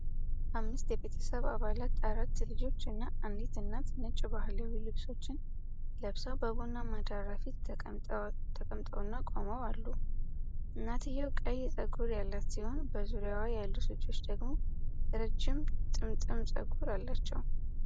አምስት የቤተሰብ አባላት፣ አራት ልጆች እና አንዲት እናት፣ ነጭ ባህላዊ ልብሶችን ለብሰው በቡናማ ዳራ ፊት ተቀምጠውና ቆመው አሉ። እናትየው ቀይ ጸጉር ያላት ሲሆን፣ በዙሪያዋ ያሉት ልጆች ደግሞ ረጅም ጥምጥም ጸጉር አላቸው።